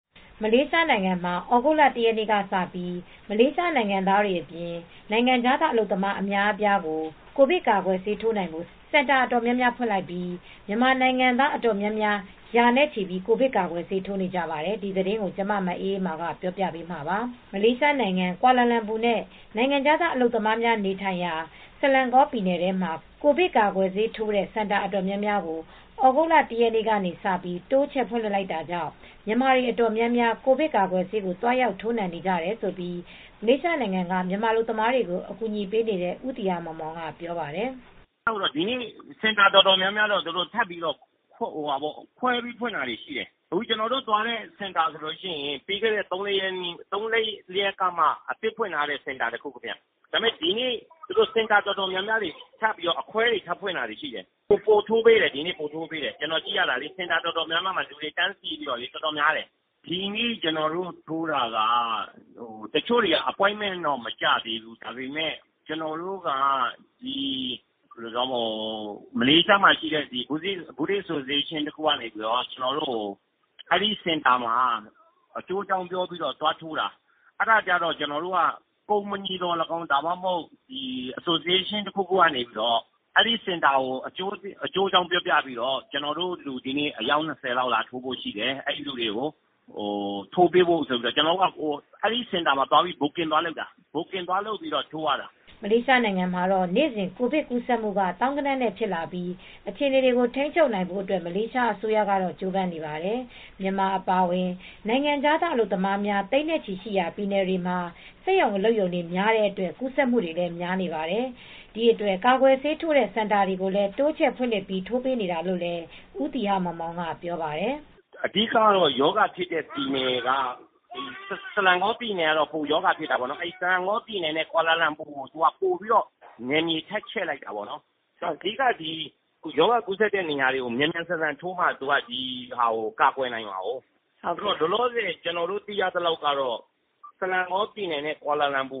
မလေးရှားနိုင်ငံမှာ သြဂုတ်လ ၁ ရက်နေ့က စပြီး နိုင်ငံခြားသား အလုပ်သမားတွေ အများအပြား Covid ကာကွယ်ဆေး ထိုးနိုင်ဖို့ စင်တာ အတော်များများ ဖွင့်လိုက်ပြီး မြန်မာနိုင်ငံသား ရာနဲ့ချီပြီး ကာကွယ်ဆေး ထိုးနေကြပါတယ်။ ထိုင်းအခြေစိုက် ဗွီအိုအေ သတင်းထောက် မအေးအေးမာ သတင်းပေးပို့ထားပါတယ်။ မလေးရှား နိုင်ငံ ကွာလာလမ်ပူ မြို့တော်၊ နောက် နိုင်ငံခြားသား အလုပ်သမားတွေ နေထိုင်ရာ ဆလန်ဂေါ ပြည်နယ်တို့မှာ ကိုဗစ် ကာကွယ်ဆေးထိုးတဲ့ စင်တာ အများအပြားကို သြဂုတ်လ ၁ ရက်နေ့က စပြီး တိုးချဲ့ ဖွင့်လှစ်လိုက်တာကြောင့် မြန်မာတွေလည်း ကိုဗစ် ကာကွယ်ဆေး သွားရောက် ထိုးနှံနေကြောင်း မလေးရှားနိုင်ငံက မြန်မာ အလုပ်သမားတွေကို ကူညီပေးနေတဲ့ ဦးသီဟမောင်မောင်က ပြောပါတယ်။ “ ဒီနေ့ စင်တာ အတော်များများကိုတော့ ထပ်ပြီးတော့ ခွဲပြီး ဖွင့်တာ ရှိတယ်။ ကျနော်တို့ သွားတဲ့ စင်တာဆိုရင် ပြီးခဲ့တဲ့ သုံးရက် လေးရက်ကမှ အသစ်ဖွင့်ထားတဲ့ စင်တာ တခုဗျ။ ဒီနေ့ စင်တာ အတော်များများ အခွဲတွေ ထပ်ဖွင့်တာ ရှိတယ်။ ပိုပြီး ထိုးပေးတယ်။ စင်တာ အတော်များများမှာ တန်းစီပြီး အတော်များတယ်။ ဒီနေ့ ကျနော်တို့ ထိုးတာ။ တချို့တွေက Appointment တော့ မကျသေးဘူး။ မလေးရှားမှာ ရှိတဲ့ Buddhist Association တခုကနေ အဲဒီ စင်တာမှာ အကျိုးအကြောင်း ပြောပြီး သွားထိုးတာ။ အဲဒါ ကျတော့ ကုမ္ပဏီ သော်လည်းကောင်း၊ အဖွဲ့အစည်း တခုခုက သော်လည်းကောင်း အဲဒီ စင်တာကို အကျိုးအကြောင်း ပြောပြီး ကျနော်တို့ လူ အယောက် ၂၀ လောက် ရှိတယ်။ အဲဒီ စင်တာမှာ ကျနော်တို့က Booking သွားလုပ်ပြီး ထိုးတာ။ ” မလေးရှား နိုင်ငံမှာတော့ နေ့စဉ် ကိုဗစ် ကူးစက်မှုက သောင်းဂဏန်းနဲ့ ဖြစ်လာပြီး အခြေအနေကို ထိန်းချုပ်နိုင်ဖို့ အတွက် မလေးရှား အစိုးရကတော့ ကြိုးပမ်းနေပါတယ်။ မြန်မာ အပါအဝင် နိုင်ငံခြားသား အလုပ်သမားများ သိန်းချီ ရှီရာ ပြည်နယ်တွေမှာ စက်ရုံ အလုပ်ရုံတွေ များတဲ့ အတွက် ကူးစက်မှုတွေလည်း များနေပါတယ်။ ဒီအတွက် ကာကွယ်ဆေးထိုးတဲ့ စင်တာတွေကိုလည်း တိုးချဲ့ ဖွင့်လှစ်ပြီး ထိုးပေးနေတာလို့လည်း ဦးသီဟမောင်မောင်က ပြောပါတယ်။ “ အဓိက ကတော့ ရောဂါဖြစ်တဲ့ ပြည်နယ်က ဆလန်ဂေါ ပြည်နယ် ကတော့ ပိုပြီး ရောဂါ ဖြစ်တာပေါ့နော်။ ဆလန်ဂေါ ပြည်နယ်နဲ့ ကွာလာလမ်ပူ ကို ပိုပြီး နယ်မြေ ထပ်ချဲ့လိုက်တာပေါ့။ အဓိက ရောဂါ ကူးစက်တဲ့ နေရာတွေမှာ မြန်မြန်ဆန်ဆန် ထိုးမှ ဒီရောဂါကို ကာကွယ်နိုင်မှာပေါ့။ လောလောဆယ်တော့ ဆလန်ဂေါ ပြည်နယ်နဲ့ ကွလာလမ်ပူ